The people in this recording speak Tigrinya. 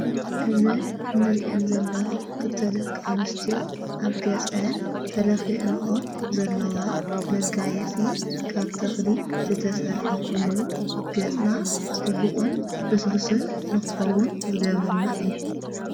እዘን እንርእን ዘለዋ ክተለቃንስትዮ ኣብ ገጸን ተለኺእንኦ ዘለዋ መጋየጺ ካብ ተኽሊ ዘተሠርሐ ኾይኑ ገጽና ጽቡቕን ልስልስን ንኸውን ዝገብረልና እዩ።